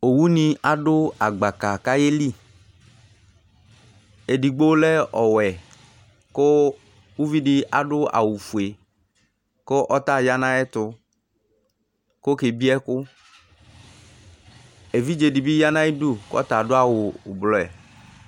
Owu ni adu agbaka ayeli Edigbo lɛ ɔwɛ kʋ uvi di adu awufue, kʋ ɔta aɣaya nʋ ayʋ ɛtʋ kʋ okebie ɛkʋ Evidze di bɩ ya nʋ ayɩdʋ kʋ ɔta adu awu ulbɔɛ